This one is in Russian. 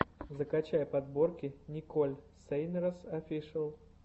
закачай подборки николь сейнрэс офишиал